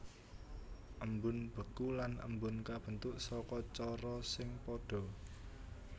Embun beku lan embun kabentuk saka cara sing padha